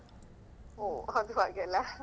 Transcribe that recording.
ಒಹ್ ಅದು ಹಾಗೆಲ್ಲಾ